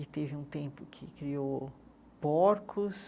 E teve um tempo que criou porcos.